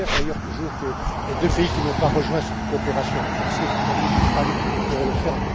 J'espère d'ailleurs toujours que les deux pays qui n'ont pas rejoint cette coopération renforcée l'Italie et l'Espagne pourront le faire.